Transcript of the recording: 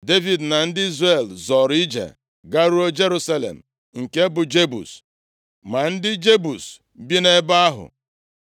Devid na ndị Izrel zọọrọ ije garuo Jerusalem nke bụ Jebus. Ma ndị Jebus bi nʼebe ahụ,